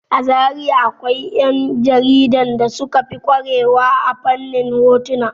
A Zariya akwai 'ƴan jaridan da suka fi ƙware wa a fannin hotuna.